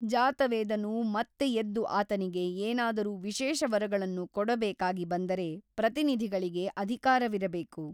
ಜಾತವೇದನು ಮತ್ತೆ ಎದ್ದು ಆತನಿಗೆ ಏನಾದರೂ ವಿಶೇಷ ವರಗಳನ್ನು ಕೊಡಬೇಕಾಗಿ ಬಂದರೆ ಪ್ರತಿನಿಧಿಗಳಿಗೆ ಅಧಿಕಾರವಿರಬೇಕು.